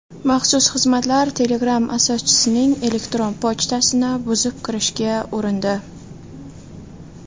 Maxsus xizmatlar Telegram asoschisining elektron pochtasini buzib kirishga urindi.